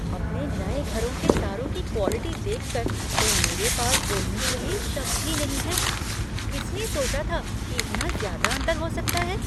अपने नए घर के तारों की क्वालिटी देख कर तो मेरे पास बोलने के लिए शब्द ही नहीं है। किसने सोचा था कि इतना ज़्यादा अंतर हो सकता है?